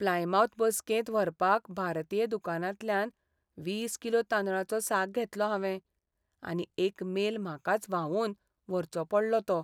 Plymouth बसकेंत व्हरपाक भारतीय दुकानांतल्यान वीस किलो तांदळाचो साक घेतलो हावें, आनी एक मेल म्हाकाच व्हांवोवन व्हरचो पडलो तो.